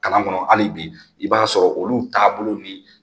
Kalan kɔnɔ hali bi, i b'a sɔrɔ olu taabolo